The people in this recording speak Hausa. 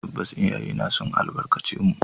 Tabbas, iyayena sun albarkace mu